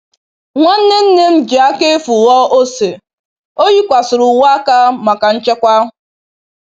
Nwanne nne m ji aka efu ghọọ ose, o yikwasịrị uwe aka maka nchekwa.